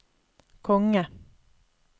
konge